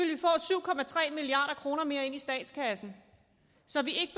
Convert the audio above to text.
milliard kroner mere ind i statskassen så vi